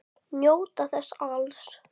Njóta þess alls.